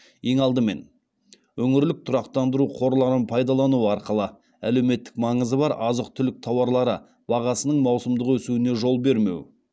ең алдымен өңірлік тұрақтандыру қорларын пайдалану арқылы әлеуметтік маңызы бар азық түлік тауарлары бағасының маусымдық өсуіне жол бермеу